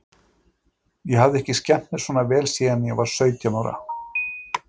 Ég hafði ekki skemmt mér svona vel síðan ég var sautján ára.